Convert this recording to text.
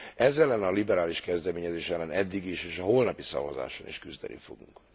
Ez ellen a liberális kezdeményezés ellen eddig is, és a holnapi szavazáson is küzdeni fogunk.